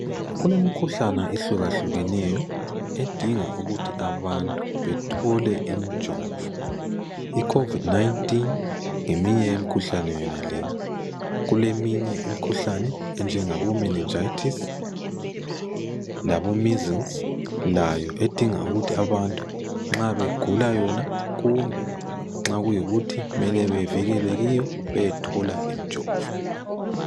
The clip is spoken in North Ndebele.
Imkhuhlane ehlukahlukeneyo edinga ukuthi abantu bethole imjovo, icovid 19 ngeminye yemikhuhlane yonale kuleminye imikhuhlane enjengabo menenjayithisi, labo measles layo edinga ukuthi abantu abantu nxa begula yona kumbe kumele bevikeleke kiyo beyethola imjovo.